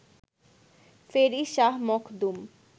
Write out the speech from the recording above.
ফেরি Shah Makhdum